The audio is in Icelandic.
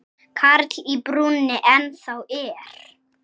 Karl í brúnni ennþá er.